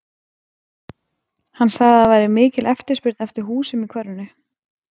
Hann sagði að það væri mikil eftirspurn eftir húsum í hverfinu.